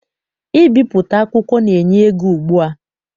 Ibipụta akwụkwọ na- enye ego ugbua.